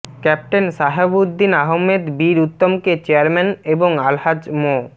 captain Shahabuddin Ahammad বীর উত্তমকে chairman এবং আলহাজ মো